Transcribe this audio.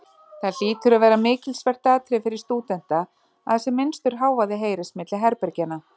Það hlýtur að vera mikilsvert atriði fyrir stúdenta, að sem minnstur hávaði heyrist milli herbergjanna.